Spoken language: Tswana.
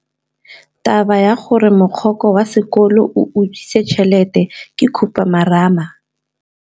Taba ya gore mogokgo wa sekolo o utswitse tšhelete ke khupamarama.